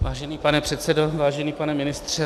Vážený pane předsedo, vážený pane ministře...